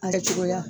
A yɛrɛ cogoya